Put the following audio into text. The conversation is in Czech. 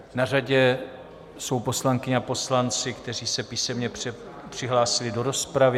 Na řadě jsou poslankyně a poslanci, kteří se písemně přihlásili do rozpravy.